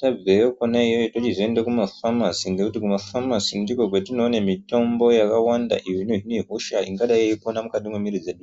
tabveyo kwona iyoyo yochizoende kumafamasi ngekuti kumafamasi ndikwo kwatinooene mitombo yakawanda iyo inohine hosha ingadai ingadai yeipona mukati mwemiri dzedu.